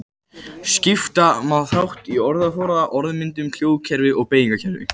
Skipta má þessum þáttum í orðaforða, orðmyndun, hljóðkerfi og beygingarkerfi.